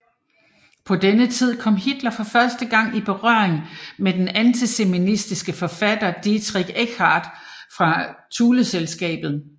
På denne tid kom Hitler for første gang i berøring med den antisemitiske forfatter Dietrich Eckart fra Thuleselskabet